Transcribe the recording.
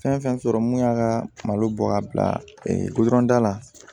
Fɛn fɛn sɔrɔ mun y'a ka malo bɔ ka bila la